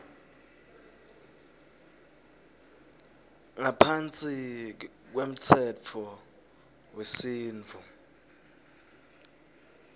ngaphansi kwemtsetfo wesintfu